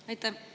Aitäh!